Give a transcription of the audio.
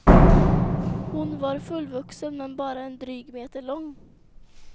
Hon var fullvuxen men bara en dryg meter lång.